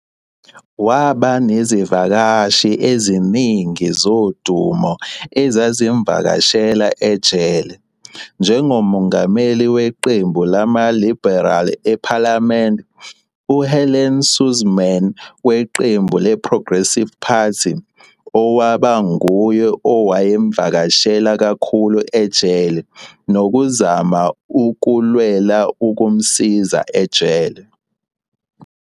Waba nezivakashi eziningi zodumo ezazimuvakashela ejele, njengomeli weqembu lama-liberal ephalamende u-Helen Suzman weqembu le-Progressive Party, owaba nguye owayemvakashela kakhulu ejele nokuzama ukulwela ukumsiza ejele.